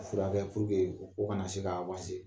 Ka siran Ala ɲɛ o ko kana na se k'a